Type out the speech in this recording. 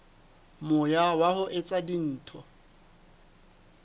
moya wa ho etsa dintho